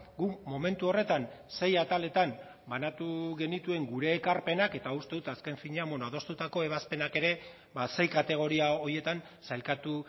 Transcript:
guk momentu horretan sei ataletan banatu genituen gure ekarpenak eta uste dut azken finean adostutako ebazpenak ere sei kategoria horietan sailkatu